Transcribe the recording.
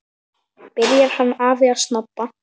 Byrjar hann afi að snobba!